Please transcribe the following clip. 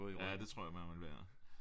Ja det tror jeg man vil være